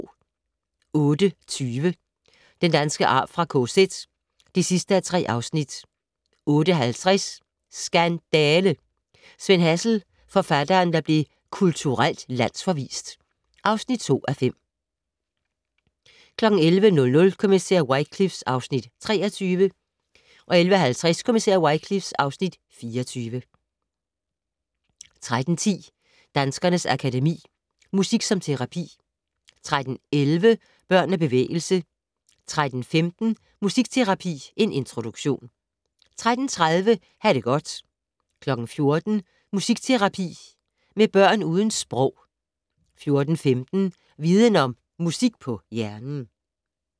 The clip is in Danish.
08:20: Den danske arv fra KZ (3:3) 08:50: Skandale! - Sven Hazel, forfatteren der blev kulturelt landsforvist (2:5) 11:00: Kommissær Wycliffe (Afs. 23) 11:50: Kommissær Wycliffe (Afs. 24) 13:10: Danskernes Akademi: Musik som terapi 13:11: Børn og bevægelse 13:15: Musikterapi - en introduktion 13:30: Ha' det godt 14:00: Musikterapi med børn uden sprog 14:15: Viden Om - Musik på hjernen